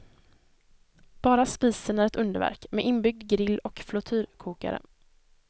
Bara spisen är ett underverk med inbyggd grill och flottyrkokare.